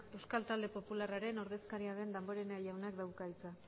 euskal talde popularraren ordezkaria den damborenea jaunak dauka hitza